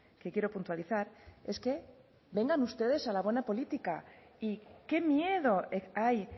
que quiero puntualizar es que vengan ustedes a la buena política y qué miedo hay